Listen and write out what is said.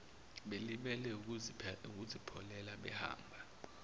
belibele ukuzipholela behamba